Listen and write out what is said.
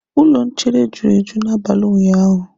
Ụlọ nchere juru eju n'abalị ụnyaahụ.